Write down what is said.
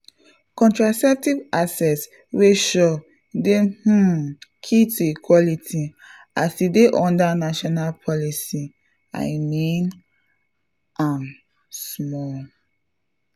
contraceptive access wey sure dey um key to equality as e dey under national policy — i mean am pause small.